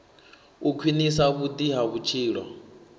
u khwinisa vhudi ha vhutshilo